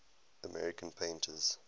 american painters